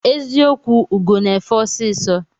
Eziokwụ ugo na efe ọsisọ.